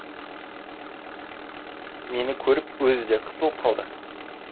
мені көріп өзі де қысылып қалды